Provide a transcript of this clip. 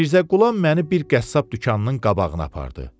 Mirzə Qulam məni bir qəssab dükanının qabağına apardı.